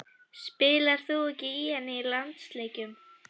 Spilar þú ekki í henni í landsleikjum?